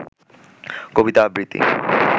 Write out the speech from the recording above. কবিতা আবৃতি